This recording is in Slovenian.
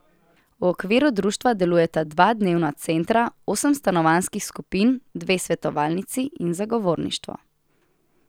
V okviru društva delujeta dva dnevna centra, osem stanovanjskih skupin, dve svetovalnici in zagovorništvo.